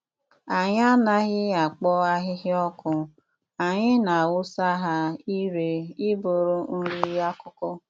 Anyị anaghị akpọ ahịhịa ọkụ anyị na-awụsa ha ire ịbụrụ nri akụkụ.